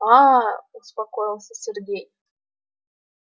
аа успокоился сергей